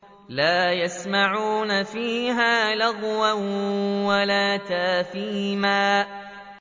لَا يَسْمَعُونَ فِيهَا لَغْوًا وَلَا تَأْثِيمًا